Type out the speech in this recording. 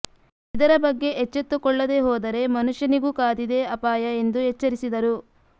ಇದರ ಬಗ್ಗೆ ಎಚ್ಚೆತ್ತುಕೊಳ್ಳದೇ ಹೋದರೆ ಮನುಷ್ಯನಿಗೂ ಕಾದಿದೆ ಅಪಾಯ ಎಂದು ಎಚ್ಚರಿಸಿದರು